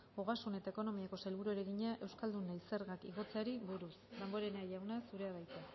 ogasun eta ekonomiako sailburuari egina euskaldunei zergak igotzeari buruz damborenea jauna zurea da hitza